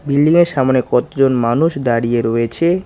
বিল্ডিংয়ের সামোনে কতজন মানুষ দাঁড়িয়ে রয়েছে।